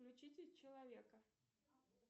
включите человека